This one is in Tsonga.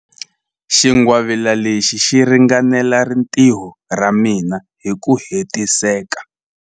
Xingwavila lexi xi ringanela rintiho ra mina hi ku hetiseka.